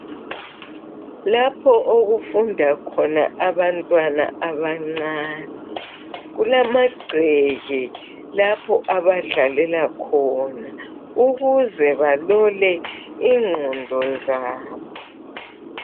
Lapho okufunda abantwana abancane. Kulamagceke lapho abadlalela khona ukuze balole ingqondo zabo.